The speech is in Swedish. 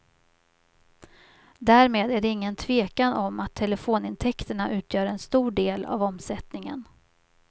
Därmed är det ingen tvekan om att telefonintäkterna utgör en stor del av omsättningen.